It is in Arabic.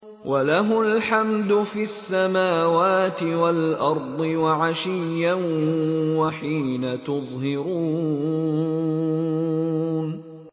وَلَهُ الْحَمْدُ فِي السَّمَاوَاتِ وَالْأَرْضِ وَعَشِيًّا وَحِينَ تُظْهِرُونَ